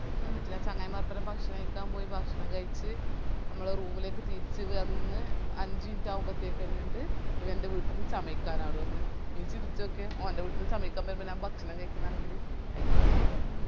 ന്നിറ്റ് ഞാൻ ചങ്ങായി മാരൊപ്പരം ഭക്ഷണം കായ്ക്കാൻ പോയി ഭക്ഷണം കയ്ച് മ്മളെ room ലേക് തിരിച് വന്ന് അഞ്ച്മിനിട്ടാവുമ്പതേക്കന്നെണ്ട് ഇവൻറെ വീട്ടീന്ന് ചമയ്ക്കാൻ ആള് വന്ന് നീ ചിന്തിച്ചോക്ക് ഓൻറെ വീട്ടീന്ന് ചമയിക്കാൻ ബെരുമ്പൊ ഞാൻ ഭക്ഷണം കൈക്കുന്നാണെങ്കില് അയ്യയ്യേ